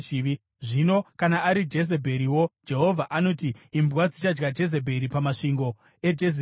“Zvino kana ari Jezebheriwo, Jehovha anoti: ‘Imbwa dzichadya Jezebheri pamasvingo eJezireeri.’